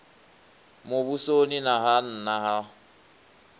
muvhusoni na ha nna ha